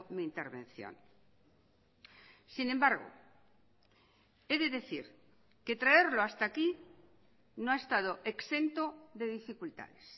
mi intervención sin embargo he de decir que traerlo hasta aquí no ha estado exento de dificultades